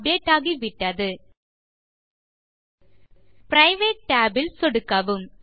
update ஆகிவிட்டது private tab இல் சொடுக்கவும்